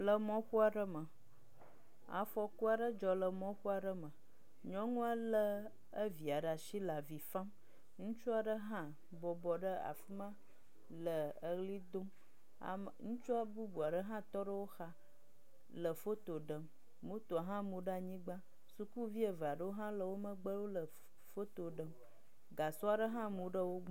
Le mɔƒoa ɖe me, afɔkua ɖe dzɔ le mɔƒoa ɖe me, nyɔnua lé evia ɖa si le avi fam. Ŋutsua ɖe hã bɔbɔ ɖe afi ma le eʋli dom. Ame, ŋutsua bubua ɖe hã tɔ ɖe wo xa le foto ɖem. Motoa hã mu ɖe anyigba. Sukuvi eve aɖewo hã le wo megbe wole foto ɖem. Gasɔa ɖe hã mu ɖe wo gbɔ.